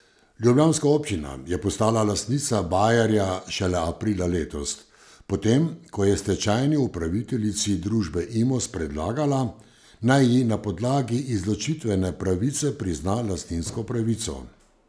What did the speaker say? Ljubljanska občina je postala lastnica bajerja šele aprila letos, potem ko je stečajni upraviteljici družbe Imos predlagala, naj ji na podlagi izločitvene pravice prizna lastninsko pravico.